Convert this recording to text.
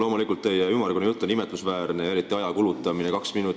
Loomulikult on imetlusväärne teie ümmargune jutt ja eriti see, et te kulutasite selleks kaks minutit.